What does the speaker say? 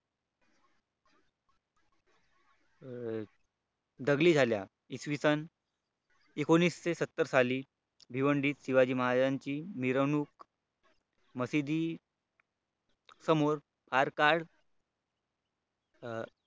दंगली झाला इसवी सन एनकोणविसशेसत्तर सली भिवंडी शिवाजी महाराजांची मिरवणूक मशिदी समोर मारकाट